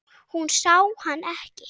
Hún sá hann ekki.